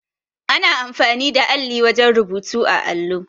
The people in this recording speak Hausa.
Ana amfani da alli wajen rubutu á allo.